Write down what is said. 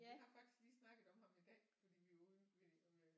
Vi har faktisk lige snakket om ham i dag fordi vi var ude ved